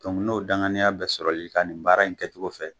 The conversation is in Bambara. N'o danganiya bɛ sɔrɔli ka nin baara in kɛcogo fɛ